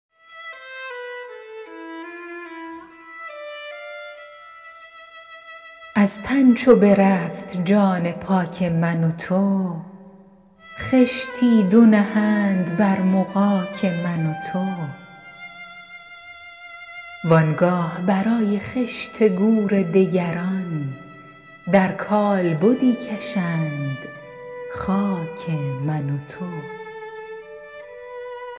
از تن چو برفت جان پاک من و تو خشتی دو نهند بر مغاک من و تو وآنگاه برای خشت گور دگران در کالبدی کشند خاک من و تو